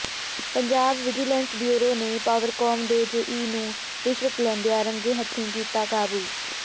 Punjab vigilance bureau ਨੇ ਪਾਵਰਕਾਮ ਦੇ JE ਨੂੰ ਰਿਸ਼ਵਤ ਲੈਂਦਿਆਂ ਰੰਗੇ ਹੱਥੀਕੀਤਾ ਕਾਬੂ